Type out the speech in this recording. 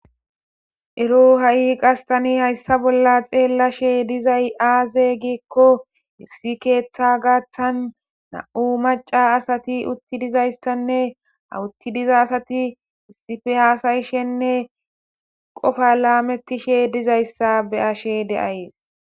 Ero ha'ii qastani hayssa bolla xeellashe dizay aaze geekko issi keeththa gaaththan na'u maca asati utti dizayssanne awutti diza asati isife haasayishenne qofa laamettishe dizayssa be ashe deayees.